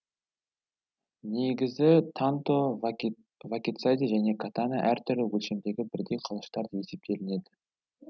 негізі танто вакидзаси және катана әртүрлі өлшемдегі бірдей қылыштар деп есептелінеді